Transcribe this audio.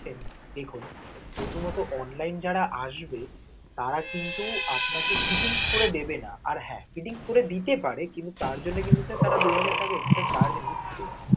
দেখুন, প্রথমত online এ যারা আসবে, তারা কিন্তু আপনাকে fitting করে দেবে না. আর হ্যা fitting করে দিতে পারে, কিন্তু তার জন্য কিন্তু, sir তারা দু হাজার টাকা extra ছাড় নিচ্ছে.